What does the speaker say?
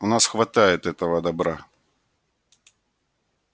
у нас хватает этого добра